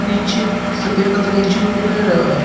नीचे सफेद कलर के जूते पहना हुआ है।